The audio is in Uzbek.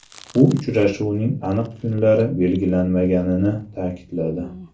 U uchrashuvning aniq kunlari belgilanmaganini ta’kidladi.